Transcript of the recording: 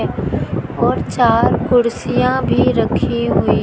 और चार कुर्सियां भी रखी हुई--